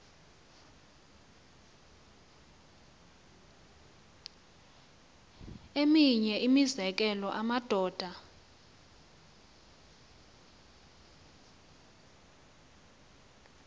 eminye imizekelo amadoda